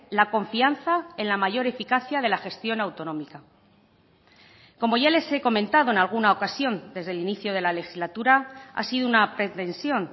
la confianza en la mayor eficacia de la gestión autonómica como ya les he comentado en alguna ocasión desde el inicio de la legislatura ha sido una pretensión